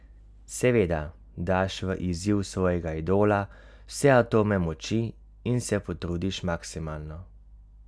Seveda daš v izziv svojega idola vse atome moči in se potrudiš maksimalno.